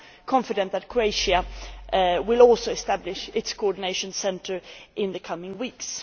I am confident that Croatia will also establish its coordination centre in the coming weeks.